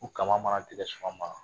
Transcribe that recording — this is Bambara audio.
U kama mana tigɛ sɔgɔma ma